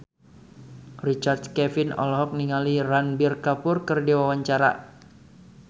Richard Kevin olohok ningali Ranbir Kapoor keur diwawancara